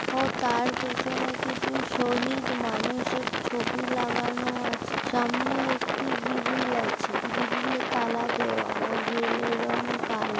ও তার পেছনে কিছু শহিদ মানুষের ছবি লাগানো আছে সামনে একটি গ্রিল আছে গ্রিল এ তালা দেওয়া ও গ্রিল -এর রঙ কাল--